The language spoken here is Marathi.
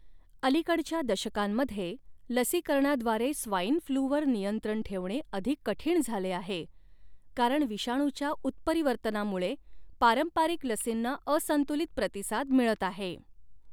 अलिकडच्या दशकांमध्ये लसीकरणाद्वारे स्वाइन फ्लूवर नियंत्रण ठेवणे अधिक कठीण झाले आहे, कारण विषाणूच्या उत्परिवर्तनामुळे पारंपरिक लसींना असंतुलित प्रतिसाद मिळत आहे.